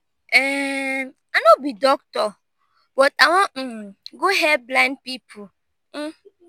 um i no be doctor but i wan um go help blind people.